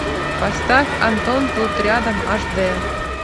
поставь антон тут рядом аш дэ